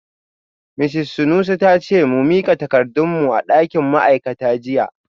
Misis Sanusi ta ce mu mika takardun mu a dakin ma’aikata jiya